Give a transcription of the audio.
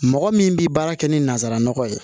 Mɔgɔ min bɛ baara kɛ ni nansaraman ye